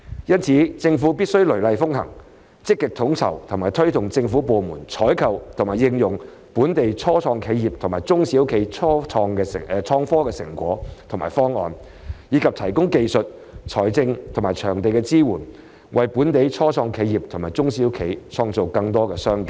因此，政府必須雷厲風行，積極統籌及推動政府部門採購和應用本地初創企業及中小企的創科產品及方案，以及提供技術丶財政及場地支援，為本地初創企業及中小企創造更多商機。